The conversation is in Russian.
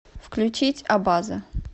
включить абаза